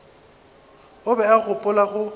o be a gopola go